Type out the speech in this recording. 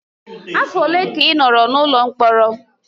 Afọ ole ka ị nọrọ n'ụlọ mkpọrọ?